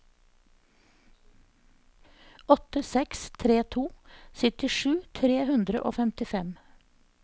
åtte seks tre to syttisju tre hundre og femtifem